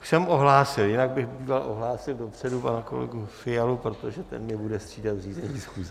Už jsem ohlásil, jinak bych býval ohlásil dopředu pana kolegu Fialy, protože ten mě bude střídat v řízení schůze.